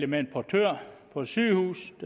med en portør på et sygehus